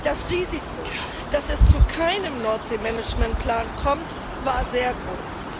Das Risiko, dass es zu keinem Nordseemanagementplan kommt, war sehr groß.